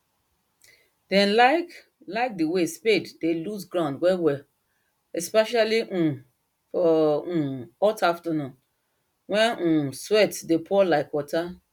dem like like the way spade dey loose ground wellwell especially um for um hot afternoon when um sweat dey pour like water